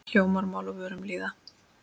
Hljómar mál á vörum lýða.